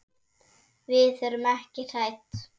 Við erum ekki hrædd.